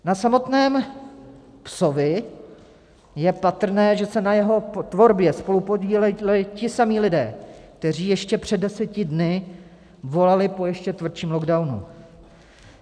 Na samotném "psovi" je patrné, že se na jeho tvorbě spolupodíleli ti samí lidé, kteří ještě před deseti dny volali po ještě tvrdším lockdownu.